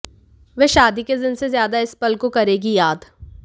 वह शादी के दिन से ज्यादा इस पल को करेगी याद